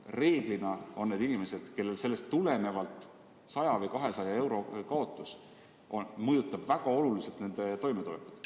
Reeglina on need inimesed, kellel sellest tulenevalt 100 või 200 euro kaotus mõjutab väga suurel määral nende toimetulekut.